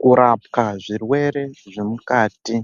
Kurapwa zvirwere zvemukati